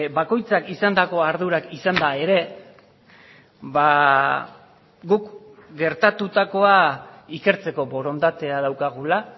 bakoitzak izandako ardurak izanda ere guk gertatutakoa ikertzeko borondatea daukagula